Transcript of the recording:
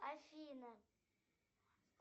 афина